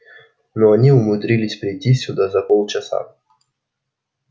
но они умудрились прийти сюда за полчаса